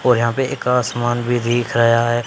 और यहाँ पे एक असमान भीं दिख रया हैं।